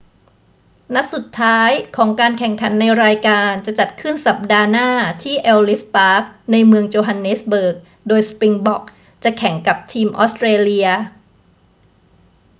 นัดสุดท้ายของการแข่งขันในรายการจะจัดขึ้นสัปดาห์หน้าที่เอลลิส ปาร์ค ในเมืองโจฮันเนสเบิร์ก โดยสปริงบ็อกจะแข่งกับทีมออสเตรเลีย